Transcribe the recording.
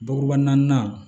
Bakuruba naani